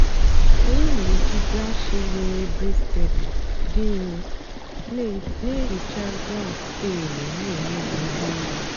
ànyị́ na-èjì bráshiz nwèrè brìstèdị́ dị́ nro na-èhìcha gráùt táịlụ́ na-èmébìghị́ èbé èlù.